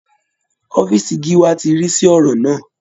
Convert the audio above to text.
Ọ̀fíìsì gíwá ti rí sí ọ̀rọ̀ náà